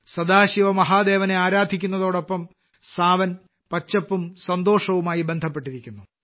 സദാശിവ മഹാദേവനെ ആരാധിക്കുന്നതോടൊപ്പം സാവൻ പച്ചപ്പും സന്തോഷവുമായി ബന്ധപ്പെട്ടിരിക്കുന്നു